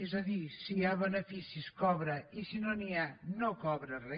és a dir si hi ha beneficis cobra i si no n’hi ha no cobra re